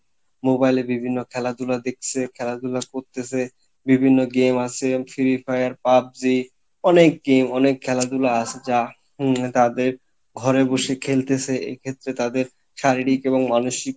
mobile এ বিভিন্ন খেলাধুলা দেখসে, খেলাধুলা করতেসে বিভিন্ন game আসে free fire PUBG অনেক game অনেক খেলাধুলা আসে হম যা তাদের ঘরে বসে খেলতেসে এক্ষেত্রে তাদের শারীরিক এবং মানসিক